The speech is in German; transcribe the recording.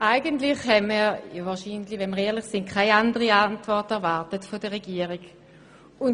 Eigentlich haben wir, wenn wir ehrlich sind, keine andere Antwort der Regierung erwartet.